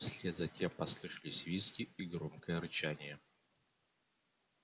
вслед за тем послышались визги и громкое рычание